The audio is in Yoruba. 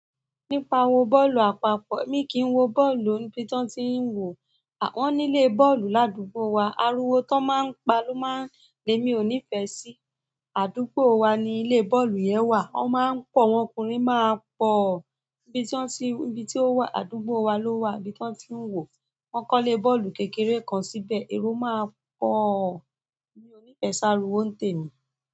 Nípa wọ bọ́ọ̀lù àpapọ̀, mi kì í wo bọ́ọ̀lù níbi tí wọ́n ti ń wò ó. Àh won nílé bọ́ọ̀lù ládùúgbò wa, ariwo tí wọ́n máa ń pa ló máa ń lé mi ò ní ìfẹ́ sí. Àdúgbò wa ni ilé bọ́ọ̀lù yẹn wà. Wọ́n máa ń pọ̀, àwọn ọkùnrin máa pọ̀. Ibi tí ó wà, àdúgbò wa ló wà, níbi tí wọ́n ti ń wò ó. Wọ́n kọ́ ilé bọ́ọ̀lù kékeré kan síbẹ̀, ero máa pọ̀. Mi ò ní ìfẹ́ sá riwo n tẹ mí.